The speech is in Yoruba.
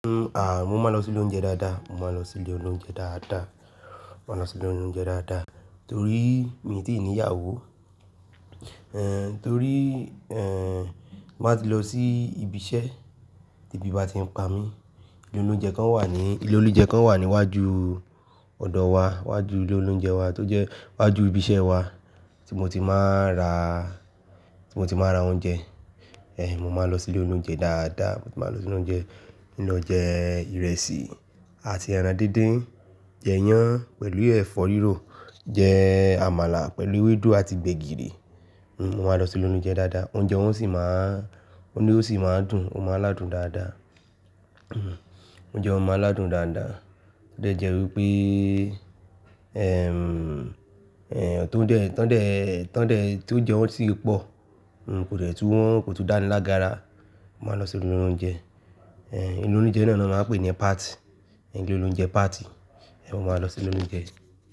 Ní hun, mo máa ń lọ sí ilé oúnjẹ dáadáa, mo máa ń lọ sí ilé oúnjẹ dáadáa, mo máa ń lọ sí ilé oúnjẹ dáadáa torí mi ò tí ì ní ìyàwó. Ẹ̀ torí, ẹ́, má tí ń lọ sí ibi iṣẹ́ tí ebí bá ti ń pa mí, ilé oúnjẹ kan wà ní, ilé oúnjẹ kan wà ní iwájú ọ̀dọ̀ wa, iwájú ilé oúnjẹ wa tó jẹ́ iwájú ibi iṣẹ́ wa tí mo ti máa ń ra, tí mo ti máa ń ra oúnjẹ. Ẹ̀, mo máa lọ sí ilé oúnjẹ dáadáa, mo ti máa lọ sí ilé oúnjẹ, mi lọ jẹ ìrẹsì àti ẹran díndín, jẹ iyán pẹ̀lú ẹ̀fọ́ rírò, jẹ àmàlà pẹ̀lú ewédú àti gbẹ̀gìrì. Mo máa lọ sí'lé oloúnjẹ dáadáa, oúnjẹ wọn sì máa ń, oúnjẹ wòn sì máa ń dùn, o máa ń ládun dáadáa. N o jẹ, mo máa ń ládun dáadáa. T o de jẹ́ wípé, ẹ́, ẹ̀, tọ́ọ́dẹ̀, tọ̀ọ́dẹ̀, tọ̀ọ́dẹ̀ tí ó jẹun sì pọ̀, n kò jẹ́ tó wọn kò tún dáni lágbára. Mo máa ń lọ sí ilé oúnjẹ. Ilé oloúnjẹ náà ni wọ́n máa ń pè ní party. Ilé oloúnjẹ party. Ẹ̀, mo máa lọ sí ilé oúnjẹ.